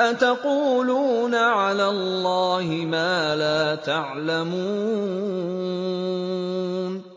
أَتَقُولُونَ عَلَى اللَّهِ مَا لَا تَعْلَمُونَ